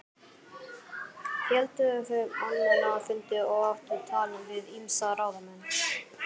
Héldu þau almenna fundi og áttu tal við ýmsa ráðamenn.